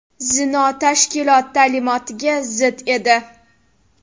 Zino tashkilot ta’limotiga zid edi.